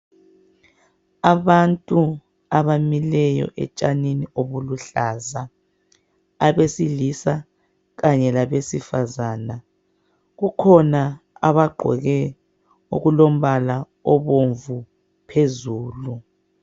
Abantu abamileyo etshanini obuluhlaza abesilisa kanye labesifazana kukhona abagqoke okulombala obomvu phezulu.